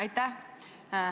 Aitäh!